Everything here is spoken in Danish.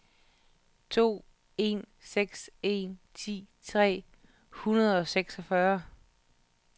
to en seks en ti tre hundrede og seksogfyrre